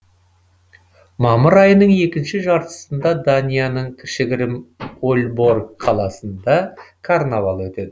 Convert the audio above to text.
мамыр айының екінші жартысында данияның кішігірім ольборг қаласында карнавал өтеді